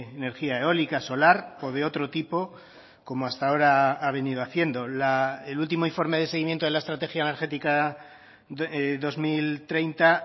energía eólica solar o de otro tipo como hasta ahora ha venido haciendo el último informe de seguimiento de la estrategia energética dos mil treinta